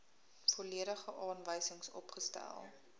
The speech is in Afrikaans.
volledige aanwysings opgestel